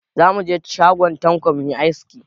Za mu je shagon Tanko mu yi aski.